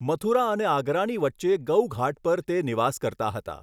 મથુરા અને આગરાની વચ્ચે ગૌઘાટ પર તે નિવાસ કરતા હતા.